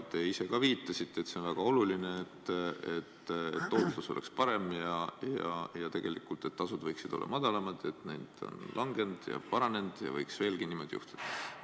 Te ise ka viitasite, et on väga oluline, et tootlus oleks parem ja et tegelikult need tasud võiksid olla madalamad, et need ongi langenud ja et võiks veelgi niimoodi edasi minna.